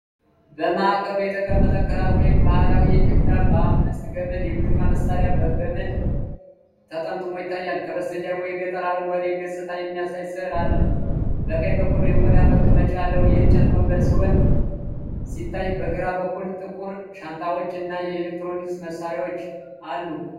በማዕከሉ የተቀመጠ ክራር (ባህላዊ የኢትዮጵያ ባለአምስት ገመድ የሙዚቃ መሣሪያ) በገመድ ተጠምጥሞ ይታያል። ከበስተጀርባው የገጠር አረንጓዴ ገጽታ የሚያሳይ ሥዕል አለ። በቀኝ በኩል የቆዳ መቀመጫ ያለው የእንጨት ወንበር ሲታይ በግራ በኩል ጥቁር ሻንጣዎች እና የኤሌክትሮኒክስ መሳሪያዎች አሉ።